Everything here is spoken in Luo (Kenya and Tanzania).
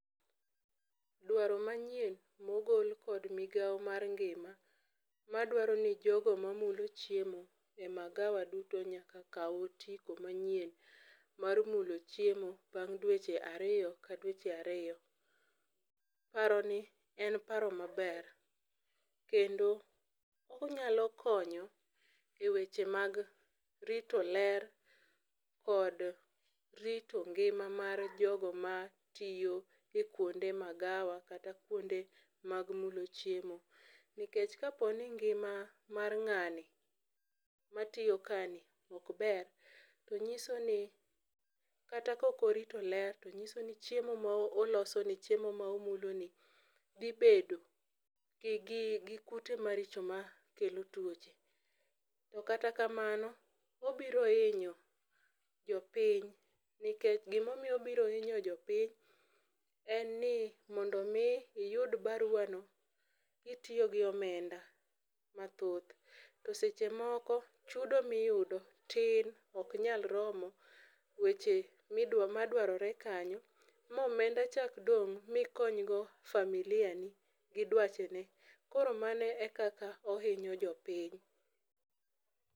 Dwaro manyien mogol kod migao mar ngima madwaro ni jogo mamulo chiemo e magawa duto nyak kaw otiko manyien mar mulo chiemo bang' dweche ariyo ka dweche ariyo. Paro ni en paro maber. Kendo onyalo konyo e weche mag rito ler kod rito ngima mar jogo matiyo e kuonde magawa kata kuonde mag mulo chiemo. Nikech kapo ni ngima mar ng'ani matiyo ka ni ok ber to nyiso ni kata kok orito ler to nyiso ni chiemo ma olosni chiemo ma omulo ni dhi bedo gi kute maricho makelo tuoche. To kata kamano, obiro hinyo jopiny nikech gimomiyo obiro hinyo jopiny en ni mondo mi iyud barua no kitiyo gi omenda mathoth. To seche moko chudo miyudo tin ok nyalromo weche ma dwarore kanyo ma omenda chak dong' mikony go familia ni gi dwachi. Koro mano e kaka ohinyo jopiny.